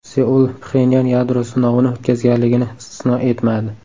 Seul Pxenyan yadro sinovini o‘tkazganligini istisno etmadi.